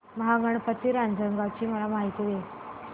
महागणपती रांजणगाव ची मला माहिती दे